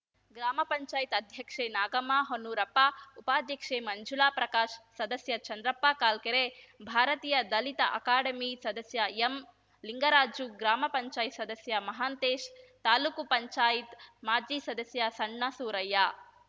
ಗ್ರಾಮ ಪಂಚಾಯತ್ ಅಧ್ಯಕ್ಷೆ ನಾಗಮ್ಮ ಹೊನ್ನೂರಪ್ಪ ಉಪಾಧ್ಯಕ್ಷೆ ಮಂಜುಳ ಪ್ರಕಾಶ್‌ ಸದಸ್ಯ ಚಂದ್ರಪ್ಪ ಕಾಲ್ಕೆರೆ ಭಾರತೀಯ ದಲಿತ ಅಕಾಡೆಮಿ ಸದಸ್ಯ ಎಂ ಲಿಂಗರಾಜ್‌ ಗ್ರಾಮ ಪಂಚಾಯತ್ ಸದಸ್ಯ ಮಹಾಂತೇಶ್‌ ತಾಲೂಕು ಪಂಚಾಯತ್ ಮಾಜಿ ಸದಸ್ಯ ಸಣ್ಣಸೂರಯ್ಯ